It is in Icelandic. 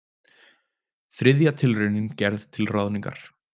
Þriðja tilraunin gerð til ráðningar